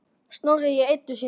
Snorri í Eddu sinni.